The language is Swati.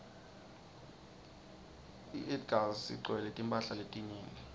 iedgas igcwaielwe timphala letinyenti